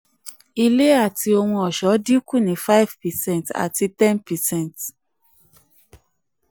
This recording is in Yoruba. ilé àti ohun àti ohun ọṣọ́ dínkù ní five percent àti ten percent